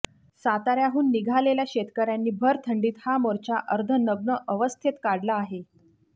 साताऱ्याहून निघालेल्या शेतकऱ्यांनी भर थंडीत हा मोर्चा अर्धनग्न अवस्थेत काढला आहे